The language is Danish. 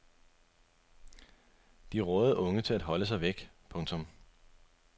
De rådede unge til at holde sig væk. punktum